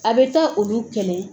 A bɛ taa olu kɛlɛ.